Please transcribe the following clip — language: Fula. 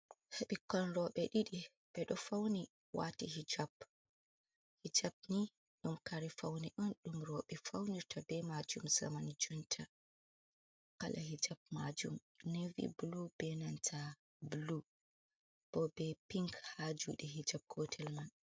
Ɓikkon roɓe ɗiɗi ɓeɗo fauni wati hijab, hijab ni ɗum kare faune on ɗum roɓe faunirta be majum zaman jonta, kala hijab majum navy blu be nanta blu bo be pink ha juɗe hijab gotel man.